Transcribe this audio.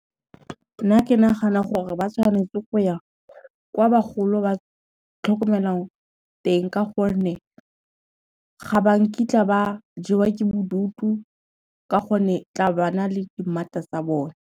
Nna ke nagana gore ba tshwanetse go ya kwa bagolo ba tlhokomelwang teng ka gonne, ga ba nkitla ba jewa ke bodutu ka gonne tla ba na le dimmata tsa bone.